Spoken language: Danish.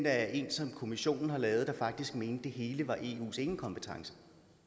er en som kommissionen har lavet der faktisk mente at det hele var eus enekompetence